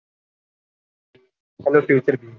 hello તેત્રી